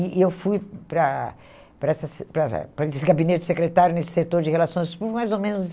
E e eu fui para para essa se para para esse gabinete secretário, nesse setor de relações públicas, mais ou menos